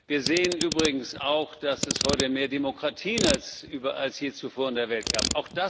Wir sehen übrigens auch, dass es heute mehr Demokratien als je zuvor in der Welt gibt.